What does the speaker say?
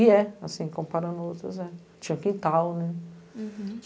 E é, assim, comparando outras, é. Tinha quintal, né?